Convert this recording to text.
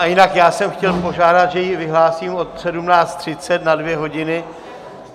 A jinak já jsem chtěl požádat, že ji vyhlásím od 17.30 na dvě hodiny.